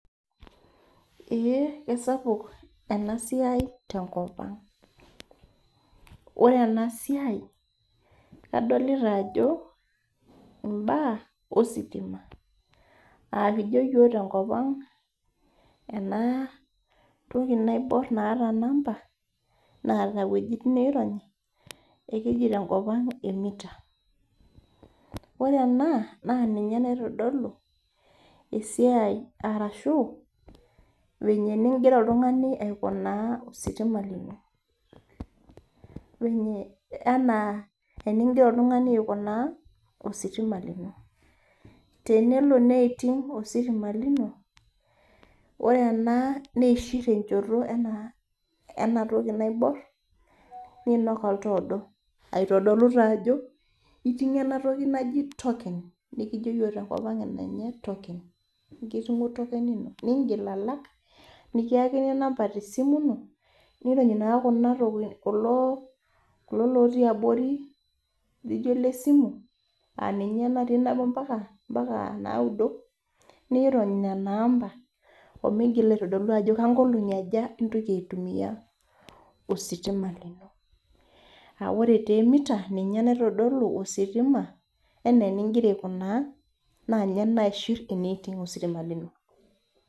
Eh kesapuk ena siai tenkop ang ore ena siai adolita ajo imbaa ositima akijo iyiok tenkop ang ena toki naiborr naata namba neeta iwuejitin naironyi ekeji tenkop ang emita ore ena naa ninye naitodolu esiai arashu venye eningira oltung'ani aikunaa ositima lino venye anaa eningira oltung'ani aikunaa ositima lino tenelo neuting ositima lino ore ena neishirr enchoto ena ena toki naiborr niinok oltaa odo aitodolu taa ajo iting'o enatoki naji token nikijio yiok tenkop ang eninye token ekiting'o token ino ningiil ala k nikiyakini inamba tesimu ino nirony naa kuna toki kulo kulo lotii abori lijio lesimu aninye natii nabo mpaka mpaka naudo niirony nana amba omigila aitodolu ajo kankolong'i aja intoki aitumia ositima lino awore taa emita ninye naitodolu ositima enaa eningira aikunaa naa ninye naishirr eneiting ositima lino.